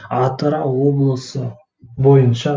атырау облысы бойынша